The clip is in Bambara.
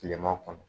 Kilema kɔnɔ